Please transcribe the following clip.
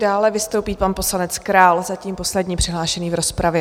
Dále vystoupí pan poslanec Král, zatím poslední přihlášený v rozpravě.